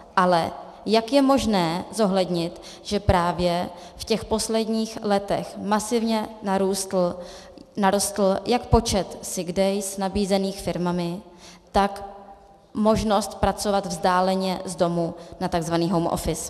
Ale jak je možné zohlednit, že právě v těch posledních letech masivně narostl jak počet sick days nabízených firmami, tak možnost pracovat vzdáleně z domu na tzv. home office?